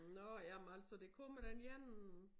Nå ja men altså det kommer da en ene